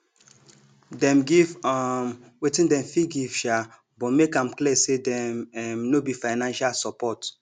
dem give um wetin dem fit give um but make am clear say dem um no be financial support